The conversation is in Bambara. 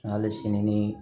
Hali sini ni